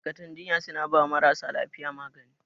Ma'aikatan jinya suna bawa marasa lafiya magani.